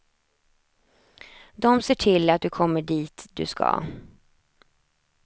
De ser till att du kommer dit du ska.